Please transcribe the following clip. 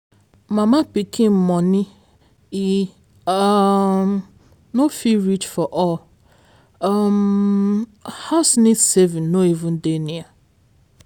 mama pikin money e um no fit reach for all um house need saving no even dey near.